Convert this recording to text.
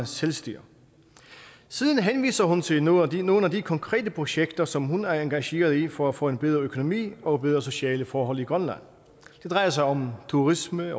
selvstyre siden henviser hun til nogle til nogle af de konkrete projekter som hun er engageret i for at få en bedre økonomi og bedre sociale forhold i grønland det drejer sig om turisme